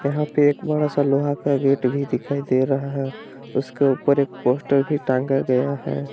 यहां पे एक बड़ा सा लोहा का गेट भी दिखाई दे रहा है। उसके ऊपर एक पोस्टर भी टांगा गया है।